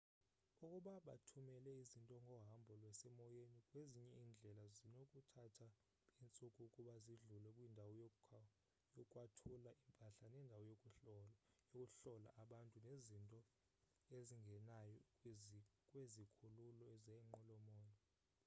ukuba bathumela izinto ngohambo lwasemoyeni kwezinye iindlela zinokuthatha iintsuku ukuba zidlule kwindawo yokwathula impahla nendawo yokuhlola abantu nezinto ezingenayo kwizikhululo zeenqwelo-moya